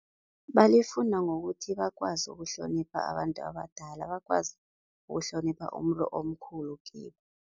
Balifunda ngokuthi bakwazi ukuhlonipha abantu abadala, bakwazi ukuhlonipha umuntu omkhulu kibo.